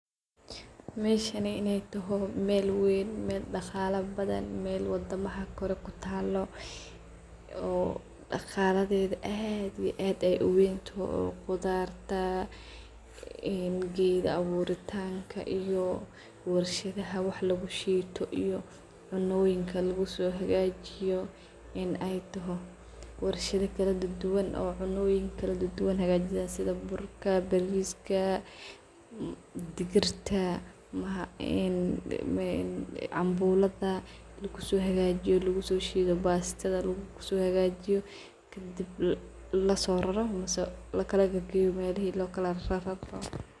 Meshanney in ay taho mel weyn mel daqala badhan mel wadamaha kore kutalo oo daqaladeda ad iyo ad uwentaho, udarta , gedaha , cuntoyin kaladuwan lagusohagajiyo en ay taho. Warshada kaladuduwan cuntoyin luguhagajiyo sida burka bastada, boshada , lugushido lagusohagajiyo sidas lagusameyo , wa mel ad u qeyma bdahn waxyalahas dhan lagahelo lakadidro melahi lokala rararo.